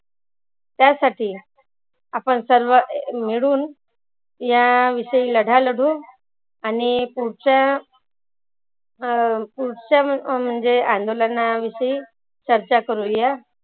त्यासाठी आपण सर्व मिळून या विषयी लढा लढवू आणि पुढच्या अं पुढच्या म्हणजे अंदोलना विषयी चर्चा करुया.